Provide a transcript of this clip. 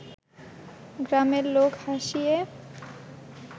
গ্রামের লোক হাসিয়ে